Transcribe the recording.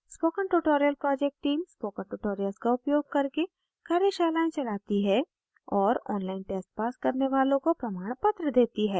spoken tutorial project team spoken tutorial का उपयोग करके कार्यशालाएं चलाती है और online test pass करने वालों को प्रमाणपत्र देती है